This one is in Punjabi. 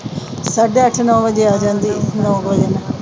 ਸਾਢੇ ਅੱਠ-ਨੌ ਵਜੇ ਆ ਜਾਂਦੀ ਆ। ਨੌ ਵਜੇ ਮੇਰੇ ਖਿਆਲ।